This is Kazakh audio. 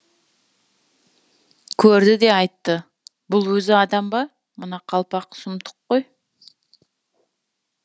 көрді де айтты бұл өзі адам ба мына қалпақ сұмдық қой